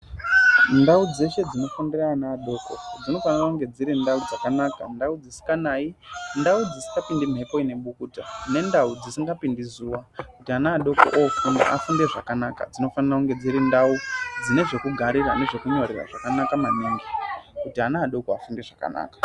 Ndau dzeshe dzinofundira ana adoko dzinofanira kunge dziri ndau dzakanaka, ndau dzisikanai, ndau dzisingapindi mhepo ine bukuta nendau dzisingapindi zuwa kuti ana adoko oofunda afunde zvakanaka. Dzinofanira kunge dziri ndau dzine zvekugarira nezvekunyorera zvakanaka maningi kuti ana afunde zvakanaka.